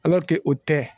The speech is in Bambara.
o tɛ